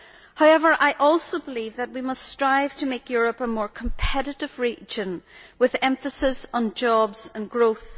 However, I also believe that we must strive to make Europe a more competitive region with emphasis on jobs and growth.